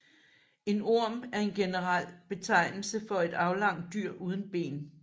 En orm er en generel betegnelse for et aflangt dyr uden ben